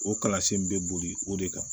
O kalansen be boli o de kan